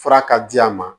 Fura ka di a ma